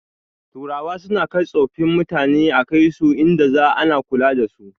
Turawa suna kai tsofin mutane a kaisu inda za ana kula dasu